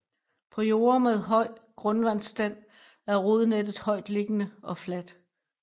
På jorde med høj grundvandsstand er rodnettet højtliggende og fladt